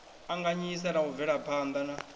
anganyisa na u bvelaphana na